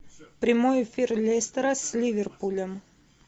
прямой эфир лестера с ливерпулем